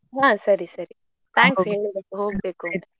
ಹಾ ಸರಿ ಸರಿ thanks ಹೇಳಿದಕ್ಕೆ ಹೋಗ್ಬೇಕು ಒಮ್ಮೆ.